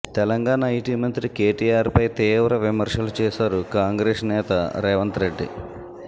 Telangana IT మంత్రి కేటీఆర్ పై తీవ్ర విమర్శలు చేశారు కాంగ్రెస్ నేత రేవంత్ రెడ్డి